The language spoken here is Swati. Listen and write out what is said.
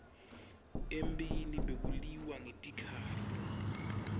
emphini bekuliwa ngetikhali